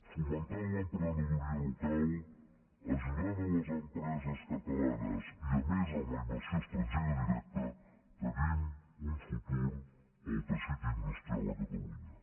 fomentant l’emprenedoria local ajudant les empreses catalanes i a més amb la inversió estrangera directa tenim un futur per al teixit industrial a catalunya